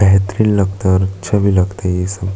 बेहतरीन लगता है और अच्छा भी लगता है ये सब --